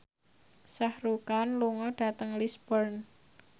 Shah Rukh Khan lunga dhateng Lisburn